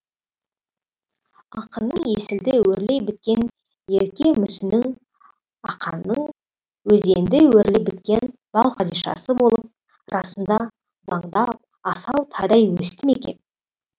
ақынның есілді өрлей біткен ерке мүсінің ақанның өзенді өрлей біткен балқадишасы болып расында бұлаңдап асау тайдай өсті ме екен